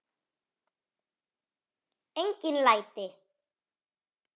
Engin læti.